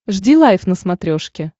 жди лайв на смотрешке